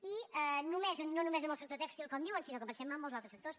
i no només en el sector tèxtil com diuen sinó que pensem en molts altres sectors